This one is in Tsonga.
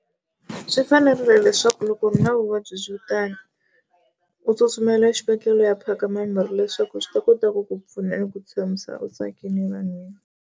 Swi fanerile leswaku loko u ri na vuvabyi byo tala u tsutsumela exibedhlele u ya phaka mimirhi leswaku swi ta kota ku ku pfuna ni ku tshamisa u tsakile vanhwini.